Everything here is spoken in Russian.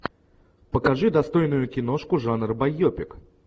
покажи достойную киношку жанр байопик